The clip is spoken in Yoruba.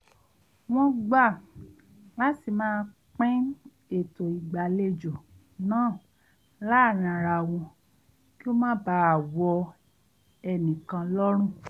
wọ́n gbà láti máa pin ètò ìgbàlejo náà láàárín ara wọn kí ó má baà wọ ẹ̀nìkan lọ́rùn